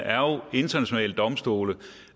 internationale domstole